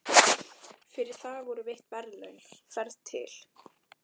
Fyrir það voru veitt verðlaun, ferð til